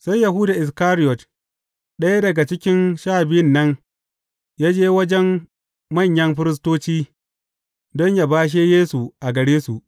Sai Yahuda Iskariyot, ɗaya daga cikin Sha Biyun nan, ya je wajen manyan firistoci don yă bashe Yesu a gare su.